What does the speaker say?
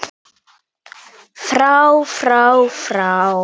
FRÁ FRÁ FRÁ